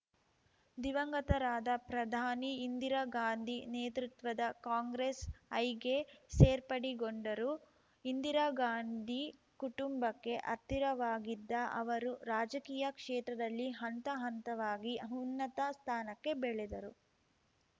ದಿವಂಗತರಾದ ಪ್ರಧಾನಿ ಇಂದಿರಾ ಗಾಂಧಿ ನೇತೃತ್ವದ ಕಾಂಗ್ರೆಸ್‌ಐಗೆ ಸೇರ್ಪಡೆಗೊಂಡರು ಇಂದಿರಾ ಗಾಂಧಿ ಕುಟುಂಬಕ್ಕೆ ಹತ್ತಿರವಾಗಿದ್ದ ಅವರು ರಾಜಕೀಯ ಕ್ಷೇತ್ರದಲ್ಲಿ ಹಂತಹಂತವಾಗಿ ಉನ್ನತ ಸ್ಥಾನಕ್ಕೆ ಬೆಳೆದರು